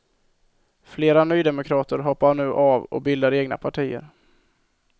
Flera nydemokrater hoppar nu av och bildar egna partier.